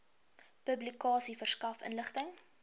publikasie verskaf inligting